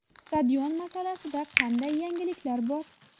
Stadion masalasida qanday yangiliklar bor?